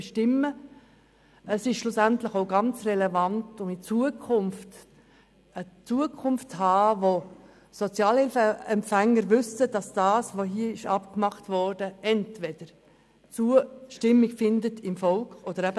Dies ist schlussendlich auch relevant, um eine Zukunft zu haben, in der Sozialhilfeempfänger wissen, dass das hier Vereinbarte beim Volk entweder Zustimmung oder eben Ablehnung findet.